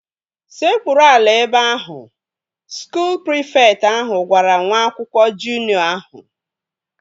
Sekpuru ala ebe ahu! Skuul prịfekt ahụ gwara nwa akwụkwọ juniọ ahụ